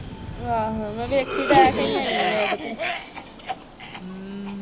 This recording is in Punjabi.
ਆਹੋ ਮੈ ਵੇਖੀ ਤੇ ਹੈ ਆਈ ਮੈ ਓਦੇ ਕੋ